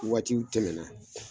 Waatiw tɛmɛ na